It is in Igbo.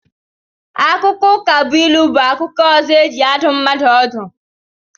Akụkọ Ụkabụilu bụ akụkọ ọzọ e ji adụ mmadụ ọdụ